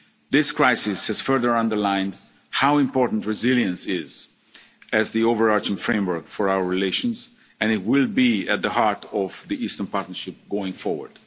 to the SMEs. This crisis has further underlined how important resilience is as the overarching framework for our relations, and it will be at the heart of the Eastern Partnership